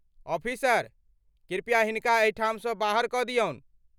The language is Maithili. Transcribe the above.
ऑफिसर, कृपया हिनका एहिठाम सँ बाहर कऽ दियौन।